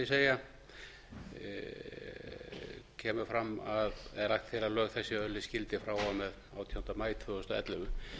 vil ég segja er lagt til að lög þessi öðlist gildi frá og með átjánda maí tvö þúsund og ellefu